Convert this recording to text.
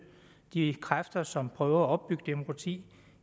de kræfter som prøver at opbygge demokrati